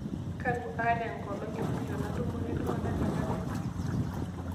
kanu aata enkolong e mwisho natumore iltungana te kalenda aai